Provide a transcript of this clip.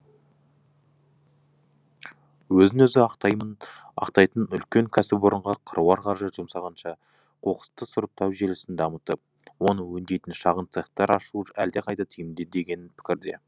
өзін өзі ақтайтын үлкен кәсіпорынға қыруар қаржы жұмсағанша қоқысты сұрыптау желісін дамытып оны өңдейтін шағын цехтар ашу әлқайда тиімді деген пікірде